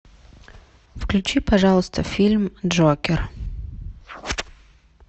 включи пожалуйста фильм джокер